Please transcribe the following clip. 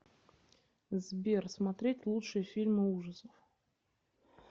сбер смотреть лучшие фильмы ужасов